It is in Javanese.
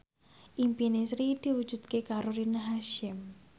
impine Sri diwujudke karo Rina Hasyim